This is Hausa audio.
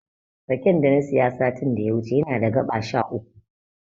Raken da na siya satin da ya wuce yana da gaɓa sha uku.